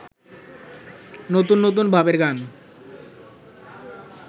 নতুন নতুন ভাবের গান